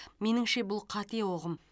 меніңше бұл қате ұғым